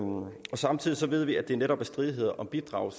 samtidig ved vi at det netop er stridigheder om bidrag